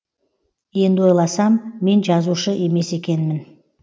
енді ойласам мен жазушы емес екенмін